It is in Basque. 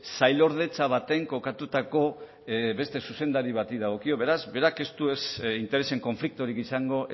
sailordetza baten kokatutako beste zuzendari bati dagokio beraz berak ez du interesen konfliktorik izango